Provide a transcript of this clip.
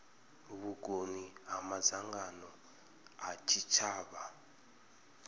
vhukoni ha madzangano a tshitshavha